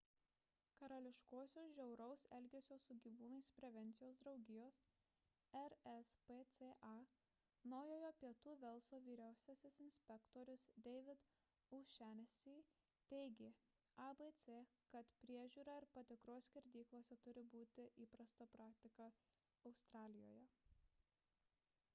karališkosios žiauraus elgesio su gyvūnais prevencijos draugijos rspca naujojo pietų velso vyriausiasis inspektorius david o'shannessy teigė abc kad priežiūra ir patikros skerdyklose turi būti įprasta praktika australijoje